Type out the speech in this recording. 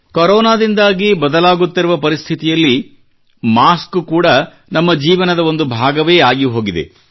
ಕೊರೋನಾದಿಂದಾಗಿ ಬದಲಾಗುತ್ತಿರುವ ಪರಿಸ್ಥಿತಿಯಲ್ಲಿ ಮಾಸ್ಕ್ ಕೂಡಾ ನಮ್ಮ ಜೀವನದ ಒಂದು ಭಾಗವೇ ಆಗಿಹೋಗಿದೆ